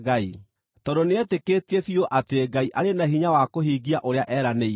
tondũ nĩetĩkĩtie biũ atĩ Ngai arĩ na hinya wa kũhingia ũrĩa eranĩire.